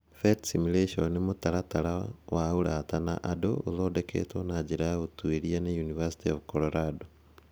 PhET simulations nĩ mũtaratara wa ũrata na andũ ũthondeketwo na njĩra ya ũtuĩria nĩ University of Colorado.